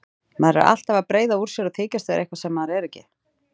Maður er alltaf að breiða úr sér og þykjast vera eitthvað sem maður er ekki.